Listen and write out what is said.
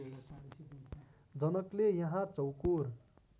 जनकले यहाँ चौकोर